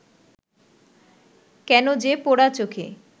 কেন যে পোড়া চোখে